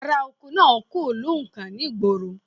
Aráoko náà kò lóǹkà ni ìgboro